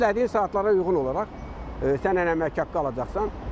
Çünki işlədiyin saatlara uyğun olaraq sən həm əmək haqqı alacaqsan.